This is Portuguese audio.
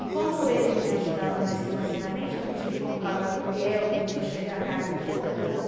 E como ele não me ajudava mais financeiramente, eu não tive como pagar aluguel, começou a chegar a carta de cobrança.